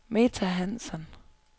Meta Hansson